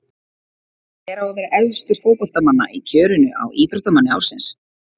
Hver á að vera efstur fótboltamanna í kjörinu á Íþróttamanni ársins?